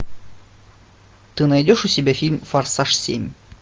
ты найдешь у себя фильм форсаж семь